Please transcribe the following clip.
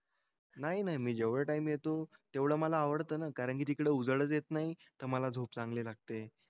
नाही नाही मी जेवढं टाइम येतो तेवढं मला आवडतं ना कारण की तिकडं उजेडच येत नाही. तर मला झोप चांगली लागते.